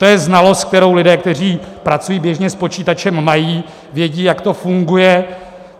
To je znalost, kterou lidé, kteří pracují běžně s počítačem, mají, vědí, jak to funguje.